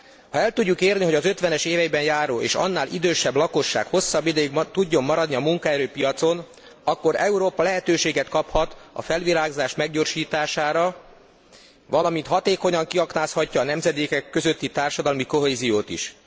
Ha el tudjuk érni, hogy az 50 es éveiben járó és annál idősebb lakosság hosszabb ideig tudjon maradni a munkaerőpiacon, akkor Európa lehetőséget kaphat a felvirágzás meggyorsítására, valamint hatékonyan kiaknázhatja a nemzedékek közötti társadalmi kohéziót is.